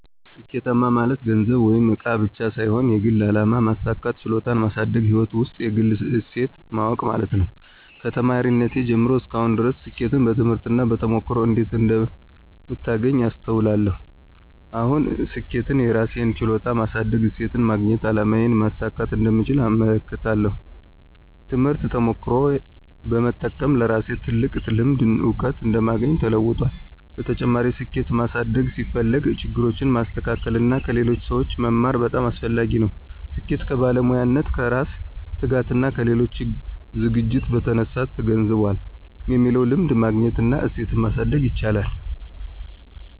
ስኬት ማለት ገንዘብ ወይም እቃ ብቻ ሳይሆን የግል አላማ ማሳካት፣ ችሎታን ማሳደግና ሕይወት ውስጥ የግል እሴት ማወቅ ማለት ነው። ከተማሪነቴ ጀምሮ እስከ አሁን ድረስ ስኬትን በትምህርት እና በተሞክሮ እንዴት እንደምታገኝ አስተውላለሁ። አሁን ስኬትን የራሴን ችሎታ ማሳደግ፣ እሴትን ማግኘትና አላማዬን ማሳካት እንደምቻል እመለከታለሁ። ትምህርትና ተሞክሮ በመጠቀም ለራሴ ትልቅ ልምድና እውቀት እንደማግኘው ተለውጧል። በተጨማሪም፣ ስኬት ማሳደግ ሲፈልግ ችግሮችን ማስተካከል እና ከሌሎች ሰዎች መማር በጣም አስፈላጊ ነው። ስኬት ከባለሙያነት፣ ከራስ ትጋትና ከሌሎች ዝግጅት በተነሳ ተገንዝቧል የሚለውን ልምድ ማግኘት እና እሴትን ማሳደግ ይቻላል።